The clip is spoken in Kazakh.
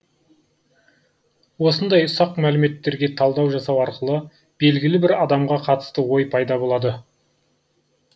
осындай ұсақ мәліметтерге талдау жасау арқылы белгілі бір адамға қатысты ой пайда болады